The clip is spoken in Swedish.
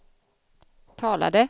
talade